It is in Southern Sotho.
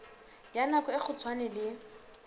ya nako e kgutshwane le